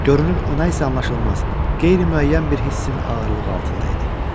Görünür, o nə isə anlaşılmaz, qeyri-müəyyən bir hissin ağırlığı altındaydı.